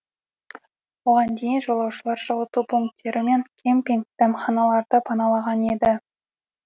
оған дейін жолаушылар жылыту пунктері мен кемпинг дәмханаларды паналаған еді